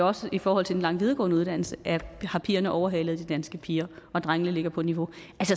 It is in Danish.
også i forhold til den lange videregående uddannelse har pigerne jo overhalet de danske piger og drengene ligger på niveau